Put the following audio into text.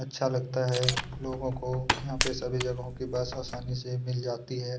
अच्छा लगता है लोगों को यहाँ पे सभी जगहों की बस आसानी से मिल जाती हैं।